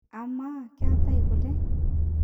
amaa keetae kule?